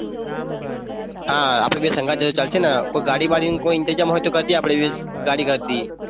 હા આપણે બે સંગાત જઈએ ચાલશેન કોઈ ગાડી બડી નો ઇન્તજામ હોય તો કરજે આપડે બે ગાડી કરી દીએ.